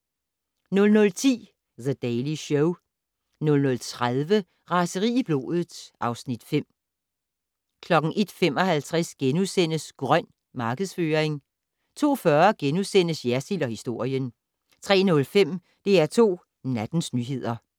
00:10: The Daily Show 00:30: Raseri i blodet (Afs. 5) 01:55: "Grøn" markedsføring * 02:40: Jersild & historien * 03:05: DR2 Nattens nyheder